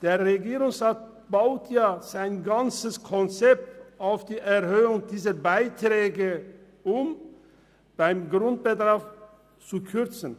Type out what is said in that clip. Der Regierungsrat baut sein ganzes Konzept auf die Erhöhung dieser Beiträge, um beim Grundbedarf zu kürzen.